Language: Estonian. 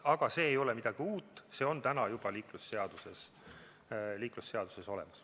Aga see ei ole midagi uut, see on juba liiklusseaduses olemas.